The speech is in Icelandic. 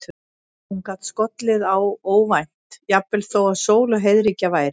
Hún gat skollið á óvænt, jafnvel þó að sól og heiðríkja væri.